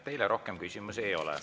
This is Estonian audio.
Teile rohkem küsimusi ei ole.